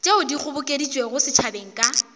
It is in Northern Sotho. tšeo di kgobokeditšwego setšhabeng ka